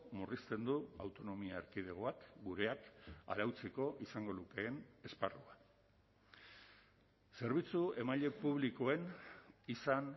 murrizten du autonomia erkidegoak gureak arautzeko izango lukeen esparrua zerbitzu emaile publikoen izan